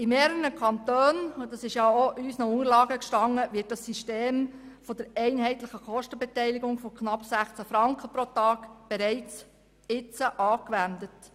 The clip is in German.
In mehreren Kantonen – und dies war unseren Unterlagen zu entnehmen – wird das System der einheitlichen Kostenbeteiligung von knapp 16 Franken pro Tag bereits angewendet.